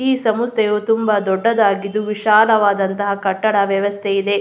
ಈ ಸಂಸ್ಥೆಯು ತುಂಬ ದೊಡ್ಡದಾಗಿದ್ದು ವಿಶಾಲವಾದಂತಹ ಕಟ್ಟಡದ ವ್ಯವಸ್ಥೆ ಇದೆ.